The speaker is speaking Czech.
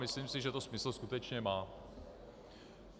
Myslím si, že to smysl skutečně má.